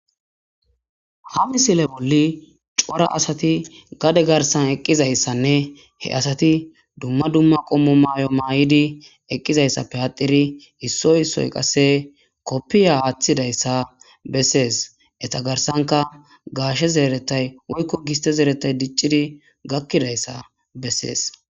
Ha misile bolli corra assati gade gaerisani eqizayissanne duma duma qommo mayo mayidayissa nne eqidayisappe adhidi issoyi issoyi qassi kopiya athizayisa besses eta garisanika gashe zerethayi woyiko gisite zerethayi diciri gakirayisa besses